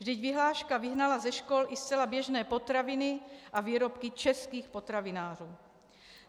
Vždyť vyhláška vyhnala ze škol i zcela běžné potraviny a výrobky českých potravinářů.